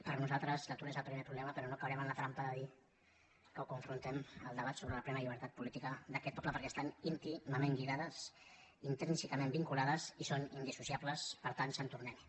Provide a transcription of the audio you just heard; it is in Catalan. per nosaltres l’atur és el primer problema però no caurem en la trampa de dir que ho confrontem amb el debat sobre la plena llibertat política d’aquest poble perquè estan íntimament lligades intrínsecament vinculades i són indissociables per tant sant tornem hi